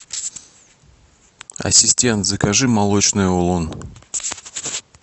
ассистент закажи молочный улун